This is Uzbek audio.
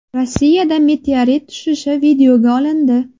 Rossiyada meteorit tushishi videoga olindi .